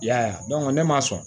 I y'a ye ne ma sɔn